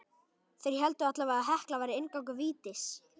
Þeir héldu allavega að Hekla væri inngangur vítis.